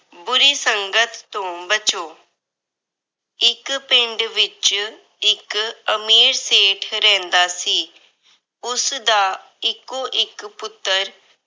ਬੁਰੀ ਸੰਗਤ ਤੋਂ ਬਚੋ। ਇੱਕ ਪਿੰਡ ਵਿੱਚ ਇੱਕ ਅਮੀਰ ਸੇਠ ਰਹਿੰਦਾ ਸੀ। ਉਸਦਾ ਇੱਕੋ-ਇੱਕ ਪੁੱਤਰ